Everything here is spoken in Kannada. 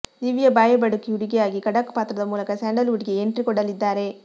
ದಿವ್ಯ ಬಾಯ್ಬಡುಕಿ ಹುಡುಗಿಯಾಗಿ ಖಡಕ್ ಪಾತ್ರದ ಮೂಲಕ ಸ್ಯಾಂಡಲ್ ವುಡ್ ಗೆ ಎಂಟ್ರಿ ಕೊಡಲಿದ್ದಾರೆ